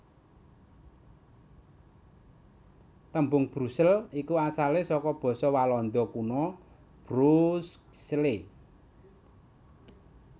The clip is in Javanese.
Tembung Brusel iku asalé saka basa Walanda Kuna Broekzele